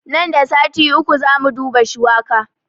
Nan da sati uku zamu duba shuwaka